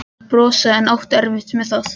Helgi reyndi að brosa en átti erfitt með það.